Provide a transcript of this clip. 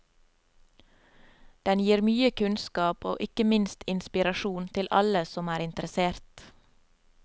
Den gir mye kunnskap, og ikke minst inspirasjon, til alle som er interessert.